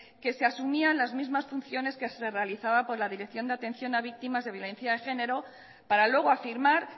que se asumían las mismas funciones que se realizaba por la dirección de atención a víctimas de violencia de género para luego afirmar